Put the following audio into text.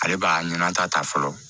Ale b'a ɲinan ta ta fɔlɔ